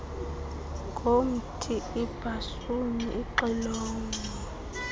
ngomthi ibhasuni ixilongo